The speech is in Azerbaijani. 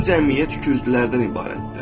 Bütün cəmiyyət ikiüzlülərdən ibarətdir.